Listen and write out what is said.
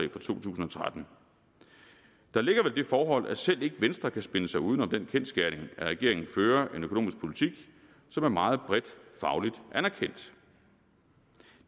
tusind og tretten der ligger vel det forhold at selv ikke venstre kan spinne sig uden om den kendsgerning at regeringen fører en økonomisk politik som er meget bredt fagligt anerkendt